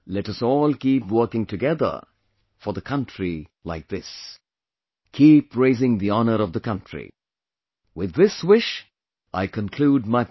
Let us all keep working together for the country like this; keep raising the honor of the country...With this wish I conclude my point